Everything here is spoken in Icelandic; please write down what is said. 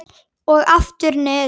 Og aftur niður.